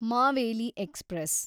Maveli express